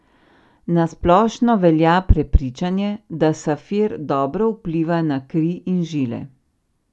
Na splošno velja prepričanje, da safir dobro vpliva na kri in žile.